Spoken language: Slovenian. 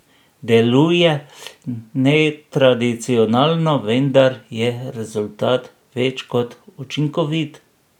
Deluje netradicionalno, vendar je rezultat več kot učinkovit.